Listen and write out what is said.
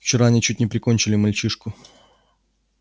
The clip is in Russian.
вчера они чуть не прикончили мальчишку